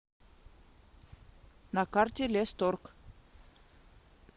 на карте лесторг